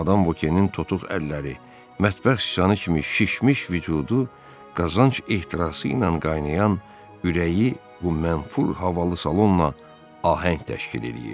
Madam Vokenin totuq əlləri, mətbəx siçanı kimi şişmiş vücudu, qazanc ehtirası ilə qaynayan ürəyi bu mənfur havalı salonla ahəng təşkil eləyir.